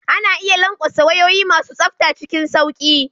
Ana iya lanƙwasa wayoyi masu tsafta cikin sauƙi.